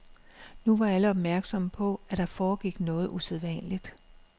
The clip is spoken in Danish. Nu var alle opmærksomme på, at der foregik noget usædvanligt.